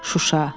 Şuşa.